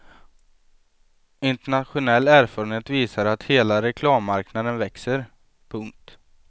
Internationell erfarenhet visar att hela reklammarknaden växer. punkt